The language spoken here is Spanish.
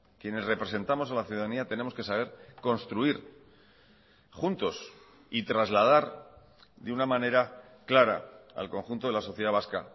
quienes representamos a la ciudadanía tenemos que saber construir juntos y trasladar de una manera clara al conjunto de la sociedad vasca